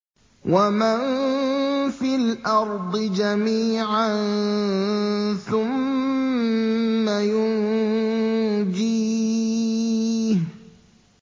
وَمَن فِي الْأَرْضِ جَمِيعًا ثُمَّ يُنجِيهِ